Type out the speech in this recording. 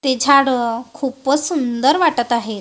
ते झाडं खूपच सुंदर वाटतं आहे.